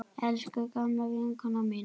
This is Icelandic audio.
Elsku gamla vinkona mín.